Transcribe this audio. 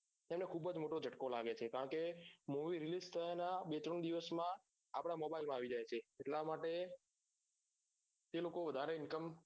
એટલે ખુબજ મોટો જાતકો લાગે છે કારણ કે movie reels ના બે ત્રણ દીવસમા આપદા mobile મા આવી જાય છે એટલા માટે જે લોકો વધારે income